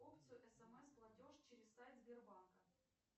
опцию смс платеж через сайт сбербанка